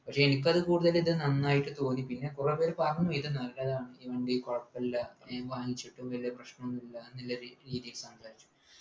പക്ഷെ എനിക്കത് കൂടുതലിൽ നന്നായിട്ട് തോന്നി പിന്നെ കൊറേ പേര് പറഞ്ഞു ഇത് നല്ലതാണ് ഈ വണ്ടി കൊഴപ്പുല്ല ഞാൻ വാങ്ങിച്ചിട്ടും വല്യ പ്രശ്നോന്നും ഇല്ല ന്നുള്ള രീതിയില്